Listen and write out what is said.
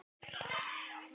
Og blaðið heldur áfram